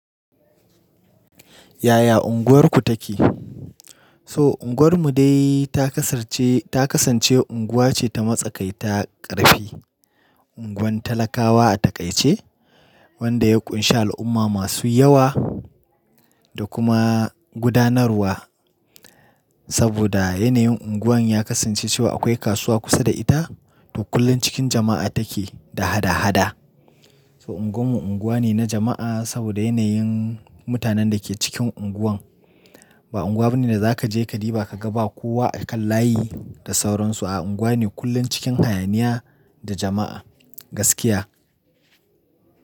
Yaya unguwarku take? To unguwar mu dai ta kasance unguwa ce ta matsakai ta ƙarfi, unguwan talakawa a taƙaice wanda ya ƙunshi al'umma masu yawa da kuma gudanarwa. Saboda yanayin unguwar ya kasance cewa akwai kasuwa kusa da ita to kullum cikin jama'a take da hada-hada. To unguwarmu unguwa ne na jama'a saboda yanayin mutanen da ke cikin unguwar. Ba unguwa bane da za ka je ka diba ka ga ba kowa a kan layi da sauransu, a'a unguwa ne kullum cikin hayaniya da jama'a, gaskiya.